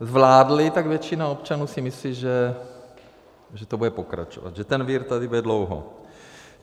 zvládli, tak většina občanů si myslí, že to bude pokračovat, že ten vir tady bude dlouho.